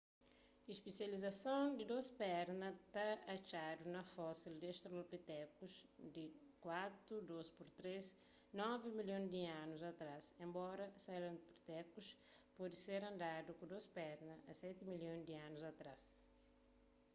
spesializason di dôs perna ta atxadu na fosil di australopithecus di 4,2-3,9 milhon di anu atrás enbora sahelanthropus pode ter andadu ku dôs perna a seti milhon di anus atrás